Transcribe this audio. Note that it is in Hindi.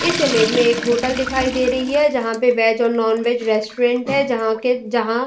इस इमेज में एक होटल दिखाई दे रही है। जहाँ पे वेज और नॉन वेज रेस्टोरेंट है जहाँ के जहाँ --